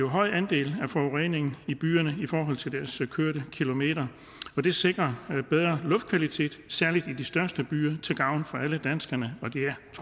høj andel af forureningen i byerne i forhold til deres kørte kilometer det sikrer bedre luftkvalitet særlig i de største byer til gavn for alle danskerne